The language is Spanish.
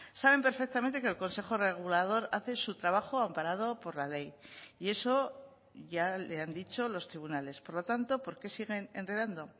saben perfectamente que el consejo regulador hace su trabajo amparado por la ley y eso ya le han dicho los tribunales por lo tanto por qué siguen enredando